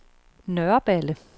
Nørreballe